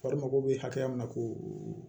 Fari mago bɛ hakɛ min na k'o